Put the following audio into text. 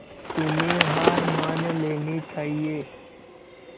तुम्हें हार मान लेनी चाहियें